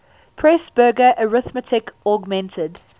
presburger arithmetic augmented